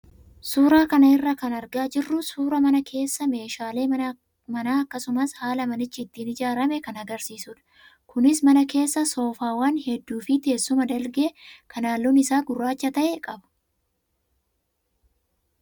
Suuraa kana irraa kan argaa jirru suuraa mana keessaa meeshaalee manaa akkasumas haala manichi ittiin ijaarame kan agarsiisudha. Kunis mana keessa soofaawwan hedduu fi teessuma dalgee kan halluun isaa gurraacha ta'e qaba.